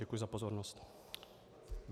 Děkuji za pozornost.